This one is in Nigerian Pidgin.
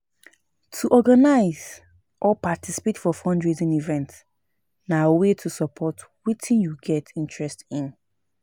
To organize or participate for fundraising event na way to support wetin you get interest in